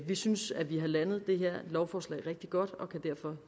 vi synes at vi har landet det her lovforslag rigtig godt og kan